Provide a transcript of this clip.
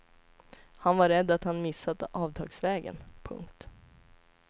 Han var rädd att han missat avtagsvägen. punkt